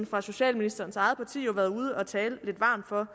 fra socialministerens eget parti jo været ude at tale lidt varmt for